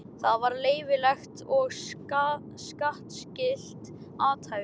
Það var leyfilegt og skattskylt athæfi.